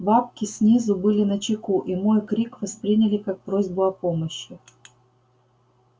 бабки снизу были начеку и мой крик восприняли как просьбу о помощи